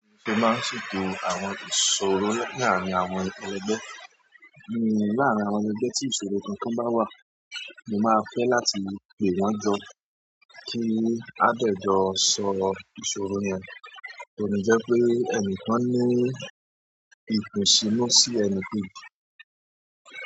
Mo máa ń ṣètò àwọn ìṣòro láàárín àwọn ẹlẹgbẹ́. Ní láàárín àwọn ẹlẹgbẹ́ tí ìṣòro kankan bá wà, mo máa fẹ́ láti pè wọ́n jọ kí a dè jọ sọ ìṣòro yẹn. Tó fi jẹ́ pé ẹnìkan ní ìkùnsínú sí ẹnì kejì.